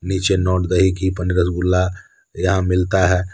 पीछे रसगुल्ला यहां मिलता है।